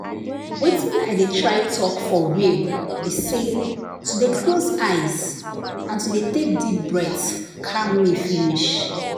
watin i dey try talk for real be say to dey close eyes and to dey take deep breath calm me finish.